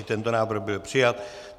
I tento návrh byl přijat.